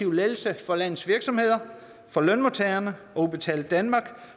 lettelser for landets virksomheder for lønmodtagerne og udbetaling danmark